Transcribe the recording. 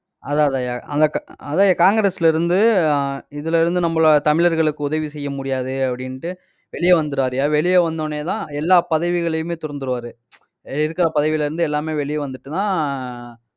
அதான் அதான்யா அந்த கா~ அதான்யா காங்கிரஸிலிருந்து இதுல இருந்து நம்மளோட தமிழர்களுக்கு உதவி செய்ய முடியாது அப்படின்ட்டு வெளிய வந்திடறாருய்யா, வெளிய வந்த உடனே தான் எல்லா பதவிகளையுமே துறந்துருவாரு இருக்கிற பதவியில இருந்து எல்லாமே வெளிய வந்துட்டுதான் ஆஹ்